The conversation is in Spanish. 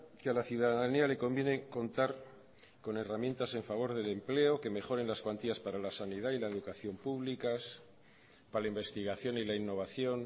que a la ciudadanía le conviene contar con herramientas en favor del empleo que mejoren las cuantías para la sanidad y la educación públicas para la investigación y la innovación